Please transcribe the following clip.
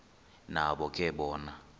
nabo ke bona